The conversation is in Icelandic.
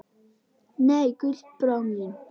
Nei, Gullbrá mín.